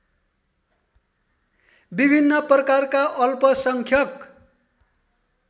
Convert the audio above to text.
विभिन्न प्रकारका अल्पसंख्यक